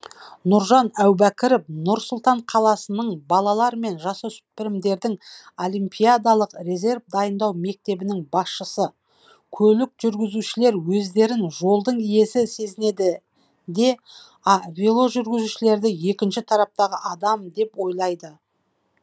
нұржан әубәкіров нұр сұлтан қаласының балалар мен жасөспірімдердің олимпиадалық резерв дайындау мектебінің басшысы көлік жүргізушілер өздерін жолдың иесі сезінеді де а веложүргізушілерді екінші тараптағы адам деп ойлайды